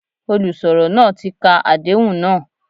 Olùsọ̀rọ̀ náà tí ka Àdéhùn náà.